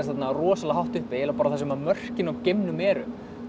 rosalega hátt uppi eiginlega þar sem mörkin á geimnum eru